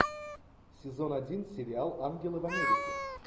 сезон один сериал ангелы в америке